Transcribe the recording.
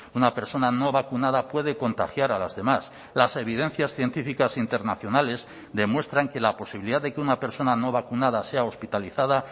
una persona no vacunada puede contagiar a las demás las evidencias científicas internacionales demuestran que la posibilidad de que una persona no vacunada sea hospitalizada